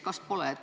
Kas pole nii?